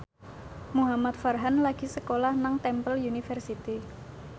Muhamad Farhan lagi sekolah nang Temple University